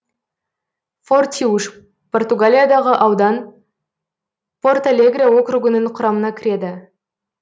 фортиуш португалиядағы аудан порталегре округінің құрамына кіреді